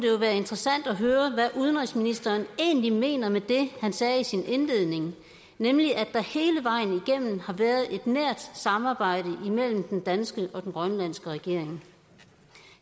være interessant at høre hvad udenrigsministeren egentlig mener med det han sagde i sin indledning nemlig at der hele vejen igennem har været et nært samarbejde mellem den danske og den grønlandske regering